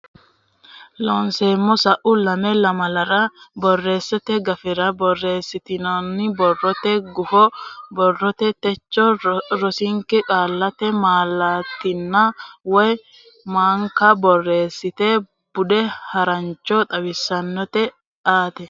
Looseemmo Sa u lame lamalara borreesste gafira borreessitinita borrote guffa borrote techo rosinke qaallate malaattanna wo manka borreessate bude harancho xawishsha aate.